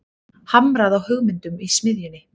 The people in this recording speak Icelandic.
Hamrað á hugmyndum í smiðjunni